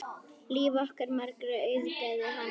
Líf okkar margra auðgaði hann.